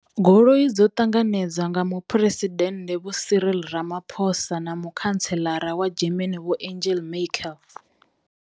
Goloi dzo ṱanganedzwa nga muphuresidennde Vho Cyril Ramaphosa na mukhantseḽara wa German Vho Angel Michael.